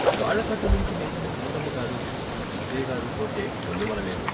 కాళ్ళకట్టనుంచి లేచిన సీతమ్మగారు పిచ్చయ్యగారు పోతే గొల్లుమనలేదు.